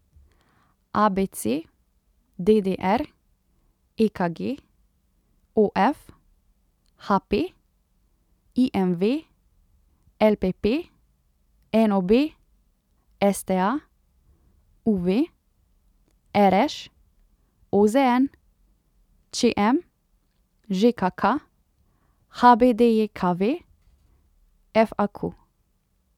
A B C; D D R; E K G; O F; H P; I M V; L P P; N O B; S T A; U V; R Š; O Z N; Č M; Ž K K; H B D J K V; F A Q.